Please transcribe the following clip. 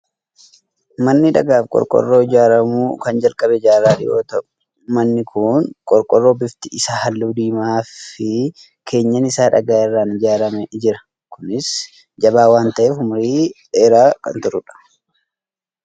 Manni dhagaa fi qorqoorroo ijaaramuu kan jalqabe jaarraa dhiyoo ta'u, manni kun qorqoorroo bifti isaa halluu diimaa fi keenyan isaa dhagaa irraan ijaaramee jira. Kunis jabaa waan ta'eef, umurii dheeraa kan turudha.